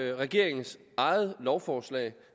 jo regeringens eget lovforslag